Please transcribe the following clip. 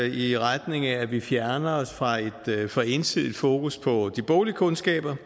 i retning af at vi fjerner os fra et for ensidigt fokus på de boglige kundskaber